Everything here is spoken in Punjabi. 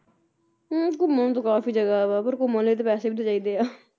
ਹੁੰ ਘੁੰਮਣ ਨੂੰ ਤਾ ਕਾਫੀ ਜਗ੍ਹਾ ਆ ਪਰ ਘੁੰਮਣ ਲਈ ਤਾਂ ਪੈਸੇ ਵੀ ਤਾਂ ਚਾਹੀਦੇ ਆ